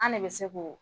An ne bɛ se k'o